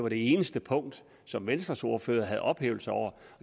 det eneste punkt som venstres ordfører havde ophævelser over